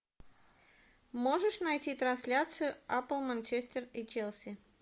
можешь найти трансляцию апл манчестер и челси